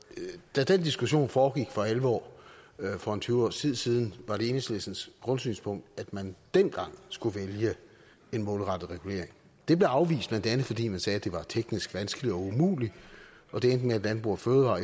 da den diskussion foregik for alvor for en tyve års tid siden var det enhedslistens grundsynspunkt at man dengang skulle vælge en målrettet regulering det blev afvist blandt andet fordi man sagde at det var teknisk vanskeligt og umuligt og det med at landbrug fødevarer